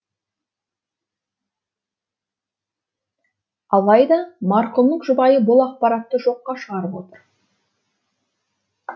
алайда марқұмның жұбайы бұл ақпаратты жоққа шығарып отыр